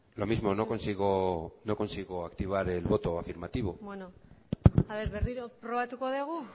lo mismo no consigo activar el voto afirmativo berriro probatuko dugu